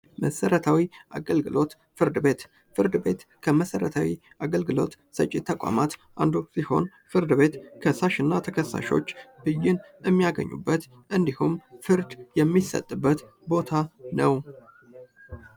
ፍርድ ቤት መሰረታዊ አገልግሎት ሰጪ ተቋም አንዱ ሲሆን ፍርድ ቤት ከሳሽ እና ተከሳሽ ብዬን የሚያገኙበት እንዲሁም ፍርድ የሚሰጥበት ቦታ ነው።